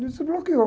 Desbloqueou.